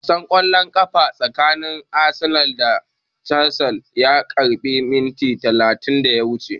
Wasan ƙwallon ƙafa tsakanin Arsenal da Chelsea ya ƙare minti talatin da ya wuce